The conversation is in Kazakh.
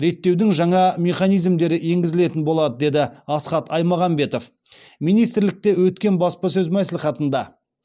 реттеудің жаңа механизмдері енгізілетін болады деді асхат аймағамбетов министрлікте өткен баспасөз мәслихатында